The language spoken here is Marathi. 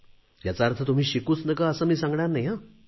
याचा अर्थ तुम्ही शिकूच नका असे मी सांगणार नाही